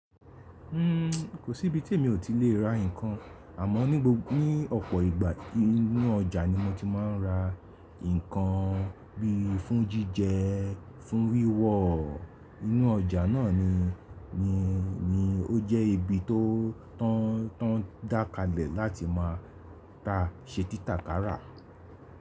Kò sí ibi tí èmi ò ti lè ra ǹkan, àmọ́ ní ọ̀pọ̀ ìgbà inú ọjà ni mo ti má ń ra ǹkan bí fún jíjẹ, fún wíwò. Inú ọjà náà ni ó jẹ́ ibi tó ń dan kalẹ̀ láti má ṣe titakara.